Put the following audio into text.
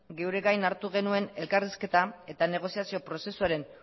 geure gain hartu genuen elkarrizketa eta negoziazio prozesuaren